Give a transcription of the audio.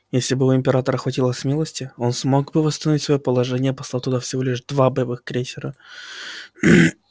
если бы у императора хватило смелости он смог бы восстановить своё положение послав туда всего лишь два боевых крейсера